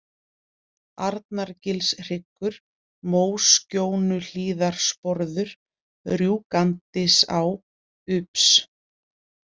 Arnargilshryggur, Móskjónuhlíðarsporður, Rjúkandisá, Ups